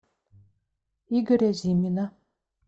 игоря зимина